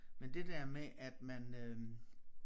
Men det der med at man øh